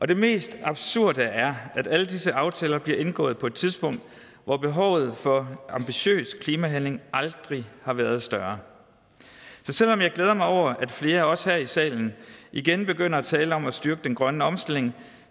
det mest absurde er at alle disse aftaler bliver indgået på et tidspunkt hvor behovet for ambitiøs klimahandling aldrig har været større så selv om jeg glæder mig over at flere også her i salen igen begynder at tale om at styrke den grønne omstilling